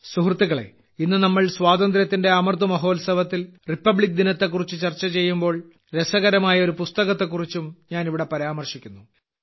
സുഹൃത്തുക്കളേ ഇന്ന് നമ്മൾ സ്വാതന്ത്ര്യത്തിൻരെ അമൃത് മഹോത്സവത്തിൽ റിപ്പബ്ലിക് ദിനത്തെക്കുറിച്ച് ചർച്ച ചെയ്യുമ്പോൾ രസകരമായ ഒരു പുസ്തകത്തെക്കുറിച്ചും ഞാൻ ഇവിടെ പരാമർശിക്കുന്നു